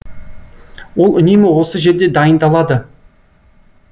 ол үнемі осы жерде дайындалады